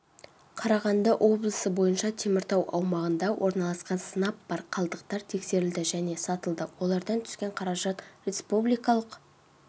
қарағанды облысы бойынша теміртау аумағында орналасқан сынап бар қалдықтар тексерілді және сатылды олардан түскен қаражат республикалық